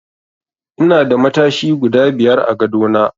Ina da matashi guda biyar a gadona.